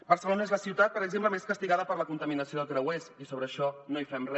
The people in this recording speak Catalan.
barcelona és la ciutat per exemple més castigada per la contaminació de creuers i sobre això no hi fem re